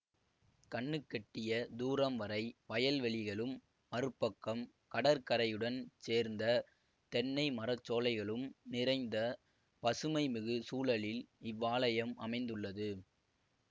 கண்ணுக்கெட்டிய தூரம் வரை வயல்வெளிகளும் மறுபக்கம் கடற்கரையுடன் சேர்ந்த தென்னை மரச்சோலைகளும் நிறைந்த பசுமைமிகு சூழலில் இவ்வாலயம் அமைந்துள்ளது